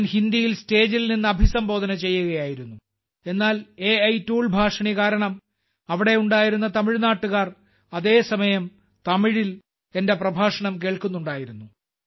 ഞാൻ ഹിന്ദിയിൽ സ്റ്റേജിൽ നിന്ന് അഭിസംബോധന ചെയ്യുകയായിരുന്നു എന്നാൽ എ ടൂൾ ഭാഷിണി കാരണം അവിടെയുണ്ടായിരുന്ന തമിഴ്നാട്ടുകാർ അതേ സമയം തമിഴിൽ എന്റെ പ്രഭാഷണം കേൾക്കുന്നുണ്ടായിരുന്നു